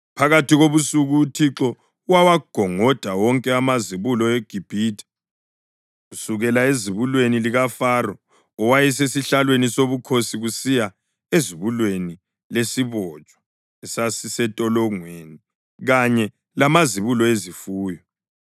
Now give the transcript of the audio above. Phakathi kobusuku uThixo wawagongoda wonke amazibulo eGibhithe, kusukela ezibulweni likaFaro owayesesihlalweni sobukhosi kusiya ezibulweni lesibotshwa esasisentolongweni, kanye lamazibulo ezifuyo.